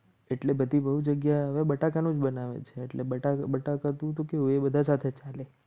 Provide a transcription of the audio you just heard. એટલી બધી બહુ જગ્યાએ હવે બટાકાનું જ બનાવે છે એટલે બટાકા તું તો એ બધા સાથે ચાલે.